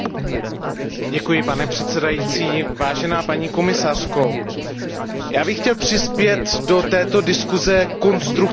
Pane předsedající, paní komisařko, já bych chtěl přispět do této diskuse konstruktivním způsobem.